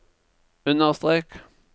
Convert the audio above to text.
understrek